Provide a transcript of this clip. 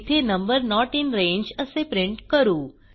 येथे number note in रांगे असे प्रिंट करू